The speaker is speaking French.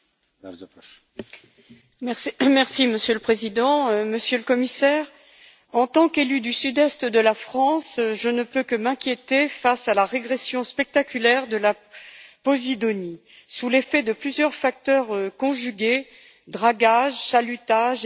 Monsieur le Président, Monsieur le Commissaire, en tant qu'élue du Sud Est de la France, je ne peux que m'inquiéter face à la régression spectaculaire de la posidonie sous l'effet de plusieurs facteurs conjugués dragage, chalutage et urbanisation du littoral, entre autres.